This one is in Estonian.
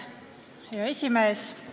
Hea esimees!